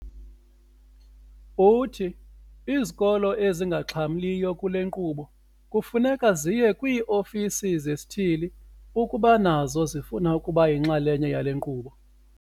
Uthi izikolo ezingaxhamliyo kule nkqubo kufuneka ziye kwii-ofisi zesithili ukuba nazo zifuna ukuba yinxalenye yale nkqubo.